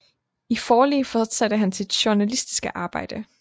I Forli fortsatte han sit journalistiske arbejde